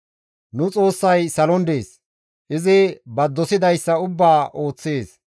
Nu Xoossay salon dees; izi ba dosidayssa ubbaa ooththees.